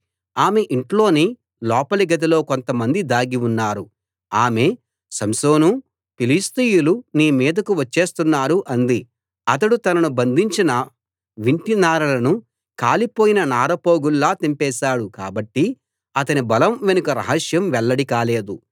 ఆమె ఇంట్లోని లోపలి గదిలో కొంతమంది దాగి ఉన్నారు ఆమె సంసోనూ ఫిలిష్తీయులు నీ మీదకు వచ్చేస్తున్నారు అంది అతడు తనను బంధించిన వింటినారలను కాలిపోయిన నారపోగుల్లా తెంపేశాడు కాబట్టి అతని బలం వెనుక రహస్యం వెల్లడి కాలేదు